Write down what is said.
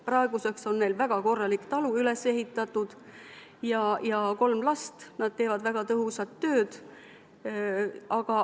Praeguseks on neil väga korralik talu üles ehitatud ja kolm last, nad teevad väga tõhusat tööd.